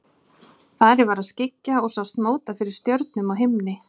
Farið var að skyggja og sást móta fyrir stjörnum á himni.